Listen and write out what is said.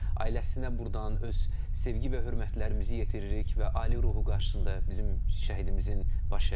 Ailəsinə burdan öz sevgi və hörmətlərimizi yetiririk və ali ruhu qarşısında bizim şəhidimizin baş əyirik.